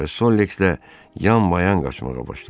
Və Sollekslə yan-mayan qaçmağa başladı.